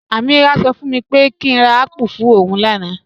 Ameerah ṣọ fún mi pé kí n rà apple fún ọún làànà